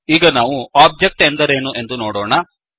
ಈಗ ನಾವು ಒಬ್ಜೆಕ್ಟ್ ಎಂದರೇನು ಎಂದು ನೋಡೋಣ